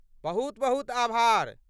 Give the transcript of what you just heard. बहुत बहुत आभार।